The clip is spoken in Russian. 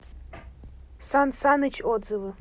сан саныч отзывы